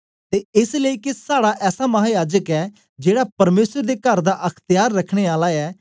ते एस लेई के साड़ा ऐसा महा याजक ऐ जेड़ा परमेसर दे कर दा अख्त्यार रखने आला ऐ